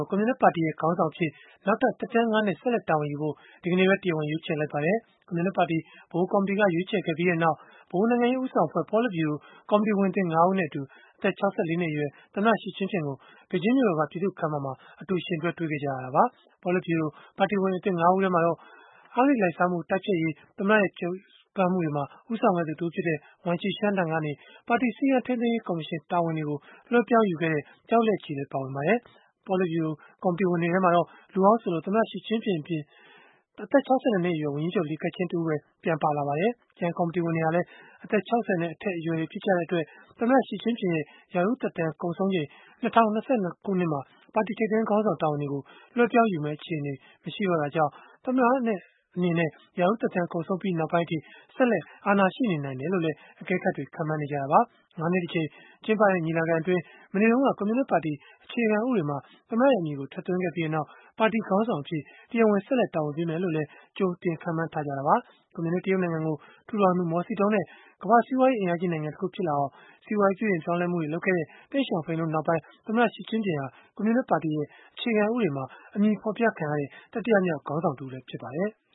ို ကွန်မြူနစ်ပါတီရဲ့ ခေါင်းဆောင်အဖြစ် နောက်ထပ် သက်တမ်း ၅ နှစ် ဆက်လက်တာဝန်ယူဖို့ ဒီကနေ့ပဲ တရားဝင် ရွေးချယ်လိုက်ပါတယ်။ ကွန်မြူနစ်ပါတီ ဗဟိုကော်မတီက ရွေးချယ်ခဲ့ပြီးနောက် ဗဟိုနိုင်ငံရေး ဦးဆောင်အဖွဲ့ ပေါလစ်ဗျူရို ကော်မတီဝင်သစ် ၅ ဦးနဲ့အတူ အသက် ၆၄ နှစ်အရွယ် သမ္မတ Xi Jinping ကို ဘေဂျင်းမြို့တော်က ပြည်သူ့ခန်းမမှာ အတူယှဉ်တွဲပြီး တွေ့ခဲ့ကြရတာပါ။ ပေါလစ်ဗျူရို ကော်မတီဝင်အသစ် ၅ ဦးထဲမှာတော့ အဂတိလိုက်စားမှု တိုက်ဖျက်ရေး သမ္မတရဲ့ ကြိုးပမ်းမှုတွေမှာ ဦးဆောင်ခဲ့သူ တဦးဖြစ်တဲ့ Wang Qishan ထံကနေ ပါတီစည်းကမ်းထိမ်းသိမ်းရေး ကော်မရှင် တာဝန်တွေကို လွဲှပြောင်းယူခဲ့တဲ့ Zhao Leji လည်း ပါဝင်ပါတယ်။ ပေါလစ်ဗျုရိုကော်မတီဝင်တွေထဲမှာ လူဟောင်းဆိုလို့ အသက် ၆၂ နှစ်အရွယ် ဝန်ကြီးချုပ် Li Keqiang တဦးပဲ ပြန်ပါလာပါတယ်။ ကျန်ကော်မတီဝင်တွေဟာလည်း အသက် ၆၀ နဲ့ အထက် အရွယ်တွေဖြစ်ကြတဲ့အတွက် သမ္မတ Xi Jinping ရဲ့ ရာထူးသက်တမ်း ကုန်ဆုံးချိန် ၂၀၂၂ ခုနှစ်မှာ ပါတီထိပ်တန်းခေါင်းဆောင် တာဝန်တွေကို လွဲှပြောင်းယူမယ့်သူ မရှိမယ့် အခြေအနေကြောင့်၊ သမ္မတအနေနဲ့ ရာထူးသက်တမ်း ကုန်ဆုံးပြီးနောက်ပိုင်းအထိ ဆက်လက်အာဏာရှိနေနိုင်တယ်လို့လည်း အကဲခတ်တွေ ခန့်မှန်းနေကြတာပါ။ ၅ နှစ်တကြိမ် ကျင်းပတဲ့ ညီလာခံအတွင်း မနေ့တုန်းက ကွန်မြူနစ်ပါတီ အခြေခံဥပဒေမှာ သမ္မတရဲ့ အမည်ကို ထည့်သွင်းခဲ့ပြီးနောက် ပါတီခေါင်းဆောင်အဖြစ် တရားဝင် ဆက်လက် တာဝန်ပေးမယ်လို့လည်း ကြိုတင်ခန့်မှန်းထားခဲ့ကြတာပါ။ ကွန်မြူနစ် တရုတ်နိုင်ငံကို ထူထောင်သူ မော်စီတုန်းနဲ့ ကမ္ဘာ့စီးပွားရေး အင်အားကြီး နိုင်ငံတခု ဖြစ်လာအောင် စီးပွားရေးပြုပြင်ပြောင်းလဲမှုတွေ လုပ်ခဲ့တဲ့ တိန့်ရှောင်ဖိန်တို့ နောက်ပိုင်း သမ္မတ Xi Jinping ဟာ ကွန်မြူနစ်ပါတီရဲ့ အခြေခံ ဥပဒေမှာ အမည်ဖော်ပြခံရတဲ့ တတိယမြောက်ခေါင်းဆောင် တဦးလည်း ဖြစ်ပါတယ်။